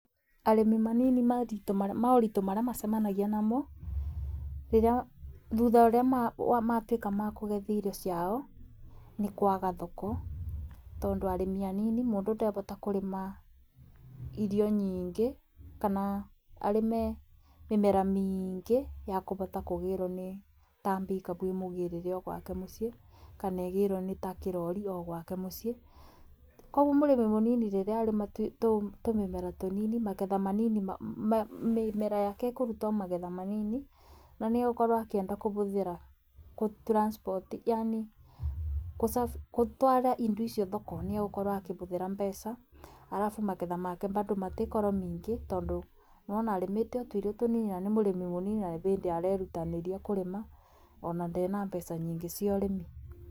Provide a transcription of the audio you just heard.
Arĩmi manini moritũ maria macemanagia namo thutha ũrĩa matuĩka makũgetha irio ciao, nĩ kwaga thoko. Tondũ arĩmi anini mũndũ ndabota kũrĩma irio nyingĩ kana arĩme mĩmera mĩingĩ ya kũbota kũgĩrwo nĩ ta mbikabu ĩmũgĩrĩre o gwake mũciĩ, kana ĩgĩrwo nĩ ta kĩrori o gwake mũciĩ. Koguo mũrĩmi mũnini rĩrĩa arĩma tumĩmera tũnini magetha manini mĩmera yake ĩkũruta o magetha manini na nĩ ekwenda gũkorwo akĩbũthĩra transport, yani kũtwara irio icio thoko nĩ egũkorwo akĩbũthĩra mbeca, arabu magetha make bado matiĩkorwo maingĩ, tondũ nĩ wona arimĩte o tũirio tũnini, na nĩ mũrĩmi mũnini na nĩ bĩndĩ arerutanĩria kurima, ona ndee na mbeca nyingĩ cia ũrĩmi.